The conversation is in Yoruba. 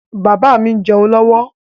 Bàbá mi ń jẹ́un lọ́wọ́